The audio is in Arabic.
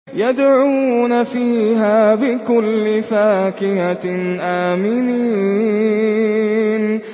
يَدْعُونَ فِيهَا بِكُلِّ فَاكِهَةٍ آمِنِينَ